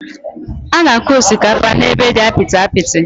Ánà akụ osikapa ébé dị apịtị apịtị